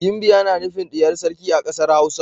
Ginbiya na nufin diyar sarki a kasar Hausa.